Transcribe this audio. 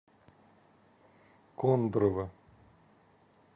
кондрово